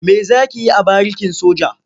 Me za ki yi a barikin soja?